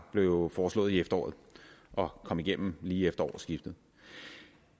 blev foreslået i efteråret og kom igennem lige efter årsskiftet